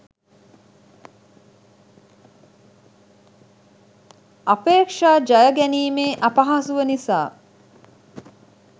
අපේක්ෂා ජය ගැනීමේ අපහසුව නිසා